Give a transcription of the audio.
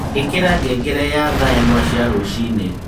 ĩikira ngengere ya thaa ĩmwe cia rũcinĩ